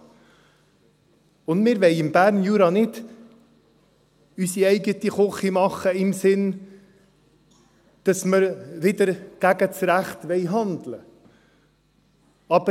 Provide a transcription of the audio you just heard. Und wir wollen im Berner Jura nicht unsere eigene Küche machen im Sinne, dass wir wider das Recht handeln wollen.